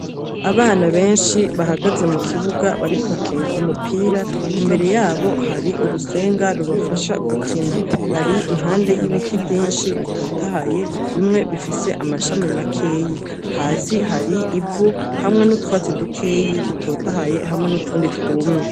Abana benshi, bahagaze mu kibuga, bariko bakina umupira, imbere yabo hari urusenga rubafasha gukina; bari impande y'ibiti vyinshi bitotahaye, bimwe bifise amashami makeyi; hasi hari ivu hamwe n'utwatsi dukeyi dutotahaye, hamwe n'utundi twumye.